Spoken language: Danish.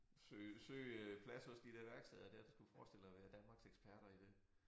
Søge søge øh plads hos de der værksteder der der skulle forestille at være Danmarks eksperter i det